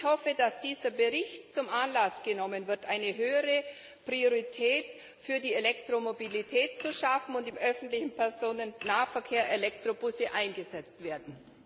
Ich hoffe, dass dieser Bericht zum Anlass genommen wird, eine höhere Priorität für die Elektromobilität zu schaffen und dass im öffentlichen Personennahverkehr Elektrobusse eingesetzt werden.